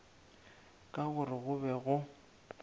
ka gore go be go